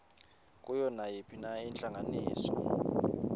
kuyo nayiphina intlanganiso